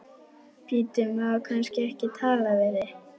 Bíddu, má kannski ekki tala við þig?